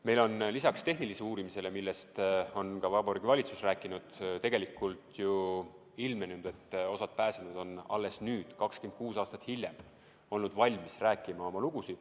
Meil on lisaks tehnilisele uurimisele, millest on ka Vabariigi Valitsus rääkinud, tegelikult ju ilmnenud, et osa pääsenuid on alles nüüd, 26 aastat hiljem, olnud valmis rääkima oma lugu.